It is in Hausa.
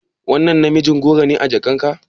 Wannan namijin goro ne a jakarka?